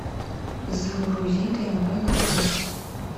загрузи тнв на тв